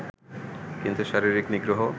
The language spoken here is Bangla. কিন্তু শারীরিক নিগ্রহ